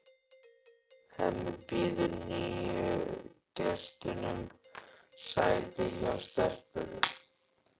Hemmi býður nýju gestunum sæti hjá stelpunum.